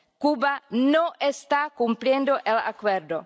Cuba no está cumpliendo el Acuerdo.